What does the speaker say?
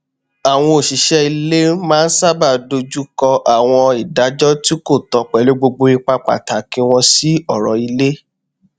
àwọn òṣìṣẹ ilé maá n sábà dojùkọ àwọn ìdájọ tí kò tọ pẹlú gbogbo ipa pàtàkì wọn sí ọrọ ilé